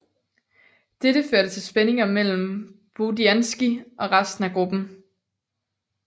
Dette førte til spændinger mellem Bodianski og resten af gruppen